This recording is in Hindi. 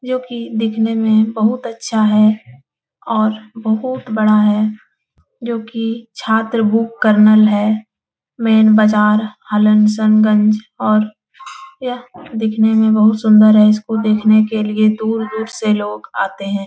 जो की दिखने में बहुत अच्छा है और बहुत बड़ा है जो की छात्र बुक कर्नल है मेंन बजार हसनगंज और यह दिखने में बहुत सुन्दर है इसको देखने के लिए दूर-दूर से लोग आते हैं ।